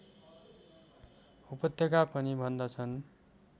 उपत्यका पनि भन्दछन्